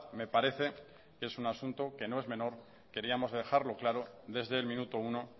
me parece que es un asunto que no es menor queríamos dejarlo claro desde el minuto uno